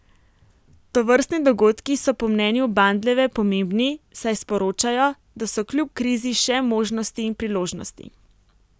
Tovrstni dogodki so po mnenju Bandljeve pomembni, saj sporočajo, da so kljub krizi še možnosti in priložnosti.